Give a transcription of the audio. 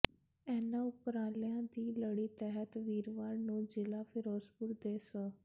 ਇਨ੍ਹਾਂ ਉਪਰਾਲਿਆਂ ਦੀ ਲੜੀ ਤਹਿਤ ਵੀਰਵਾਰ ਨੂੰ ਜ਼ਿਲ੍ਹਾ ਫਿਰੋਜ਼ਪੁਰ ਦੇ ਸ